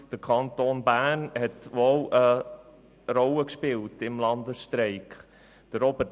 : Der Kanton Bern hat sehr wohl eine Rolle beim Landesstreik gespielt.